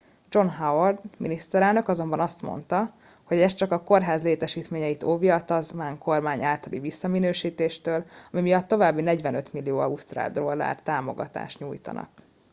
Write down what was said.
john howard miniszterelnök azonban azt mondta hogy ez csak a kórház létesítményeit óvja a tasmán kormány általi visszaminősítéstől ami miatt további 45 millió ausztrál dollár támogatást nyújtanak